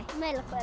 Melahverfi